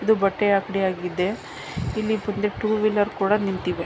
ಇದು ಬಟ್ಟೆ ಅಂಗಡಿ ಆಗಿದೆ ಇಲ್ಲಿ ಬಂದು ಟೂ ವೀಲರ್ ಕೂಡ ನಿಂತಿವೆ .